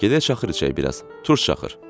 Hə, gedək şaxır içək biraz, turş şaxır.